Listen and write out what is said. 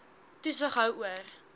toesig hou oor